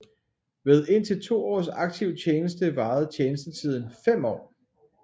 Ved indtil to års aktiv tjeneste varede tjenestetiden fem år